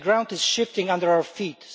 The ground is shifting under our feet.